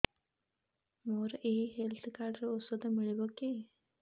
ମୋର ଏଇ health card ରେ ଔଷଧ ମିଳିବ କି